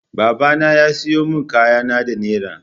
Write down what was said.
Babana ya siyo min kayana da naira.